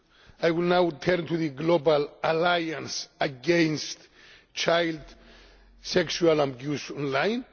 I will now turn to the Global Alliance against child sexual abuse online.